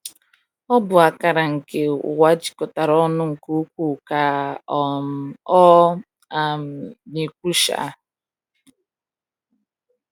"Ọ bụ akara nke ụwa jikọtara ọnụ nke ukwuu," ka um ọ um na-ekwu. um